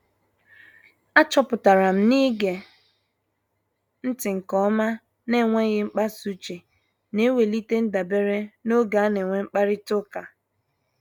A chọpụtara m na-ige ntị nke ọma na enweghị mkpasa uche na-ewelite ndabere n'oge ana-enwe mkparita ụka